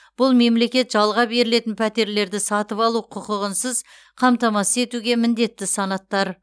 бұл мемлекет жалға берілетін пәтерлерді сатып алу құқығынсыз қамтамасыз етуге міндетті санаттар